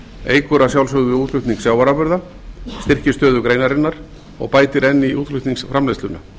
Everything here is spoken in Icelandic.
eykur að sjálfsögðu útflutning sjávarafurða styrkir stöðu greinarinnar og bætir enn í útflutningsframleiðsluna